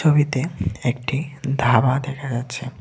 ছবিতে একটি ধাবা দেখা যাচ্ছে।